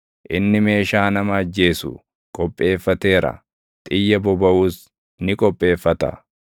Inni meeshaa nama ajjeesu qopheeffateera; xiyya bobaʼus ni qopheeffata.